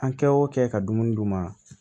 An kɛ o kɛ ka dumuni d'u ma